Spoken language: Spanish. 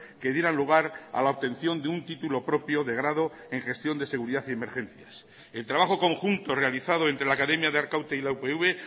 que dieran lugar a la obtención de un título propio de grado en gestión de seguridad y emergencias el trabajo conjunto realizado entre la academia de arkaute y la upv